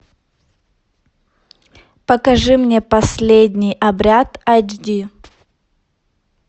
покажи мне последний обряд айч ди